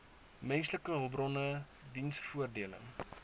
menslike hulpbronne diensvoordele